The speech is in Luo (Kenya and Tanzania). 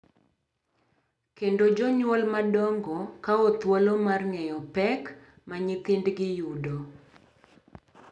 Kendo jonyuol madongo kawo thuolo mar ng’eyo pek ma nyithindgi yudo, .